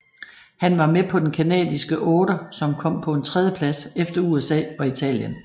Han var med på den canadiske otter som kom på en tredjeplads efter USA og Italien